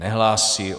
Nehlásí.